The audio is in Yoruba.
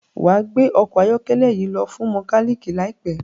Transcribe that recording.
wá gbé ọkọ ayọkẹlẹ yí lo fún mekaniki láìpé